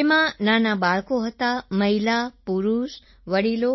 જેમાં નાનાં બાળકો હતા મહિલા પુરુષ વડિલો